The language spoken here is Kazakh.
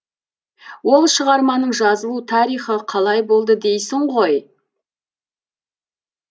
ол шығарманың жазылу тарихы қалай болды дейсің ғой